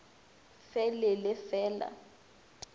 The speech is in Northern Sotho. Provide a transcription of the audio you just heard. fe le le fe la